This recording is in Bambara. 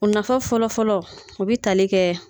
O nafa fɔlɔfɔlɔ o bi tali kɛ